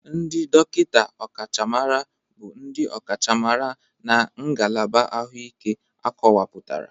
Ndị dọkịta ọkachamara bụ ndị ọkachamara na ngalaba ahụike akọwapụtara.